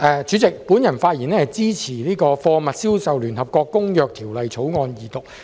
代理主席，我發言支持二讀《貨物銷售條例草案》。